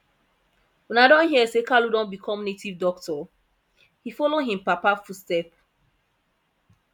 una don hear say kalu don become native doctor he follow im papa footstep